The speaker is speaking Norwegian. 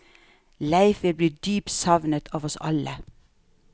Leif vil bli dypt savnet av oss alle.